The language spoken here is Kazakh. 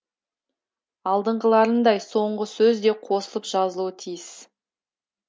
алдыңғыларындай соңғы сөз де қосылып жазылуы тиіс